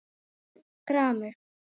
Örn gramur.